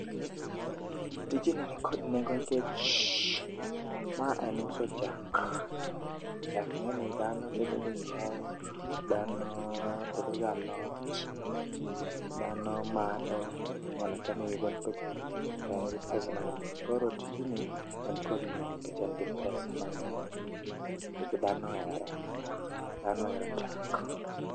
Tijni nikod nengo nikech ma en uso chak. Chak ing'e ni dhano tedogo chae, dhano tedo go alot, dhano madho, inyalo chame gi kuon to en gi pesa mang'eny. Koro tijni en kod nengo nikech en gi pesa mang'eny, nikech dhano ohere, dhano ohero chak.